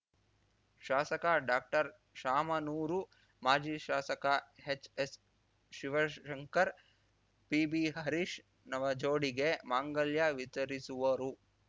ಶಾಸಕ ಡಾಕ್ಟರ್ಶಾಮನೂರು ಮಾಜಿ ಶಾಸಕ ಎಚ್‌ಎಸ್‌ಶಿವಶಂಕರ್ ಪಿಬಿಹರೀಶ್‌ ನವ ಜೋಡಿಗೆ ಮಾಂಗಲ್ಯ ವಿತರಿಸುವರು